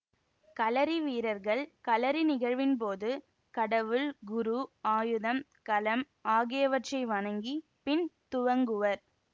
களரி வீரர்கள் களரி நிகழ்வின் போது கடவுள் குரு ஆயுதம் களம் ஆகியவற்றை வணங்கி பின் துவங்குவர்